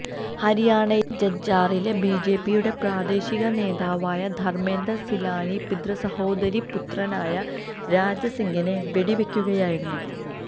ഹരിയാണയിലെ ജജ്ജാറില് ബിജെപിയുടെ പ്രാദേശിക നേതാവായ ധര്മേന്ദര് സിലാനി പിതൃസഹോദരീ പുത്രനായ രാജസിങ്ങിനെ വെടിവെക്കുകയായിരുന്നു